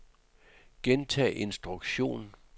gentag instruktion